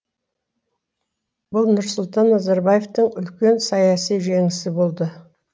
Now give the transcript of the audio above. бұл нұрсұлтан назарбаевтың үлкен саяси жеңісі болды